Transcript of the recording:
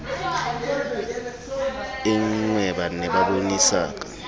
e nngweba ne ba bonesaka